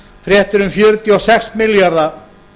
fréttir um fjörutíu og sex milljarða